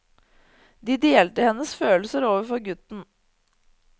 De delte hennes følelser overfor gutten.